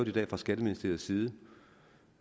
i dag fra skatteministeriets side